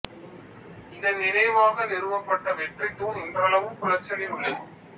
இதன் நினைவாக நிறுவப்பட்ட வெற்றி தூண் இன்றளவும் குளச்சலில் உள்ளது